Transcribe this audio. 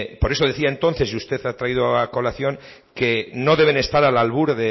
por eso decía entonces y usted ha traído a colación que no deben estar al albur